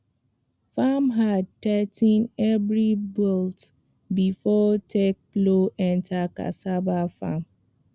farmhand tigh ten every bolt before take plow enter cassava farm